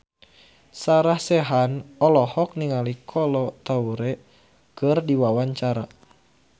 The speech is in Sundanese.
Sarah Sechan olohok ningali Kolo Taure keur diwawancara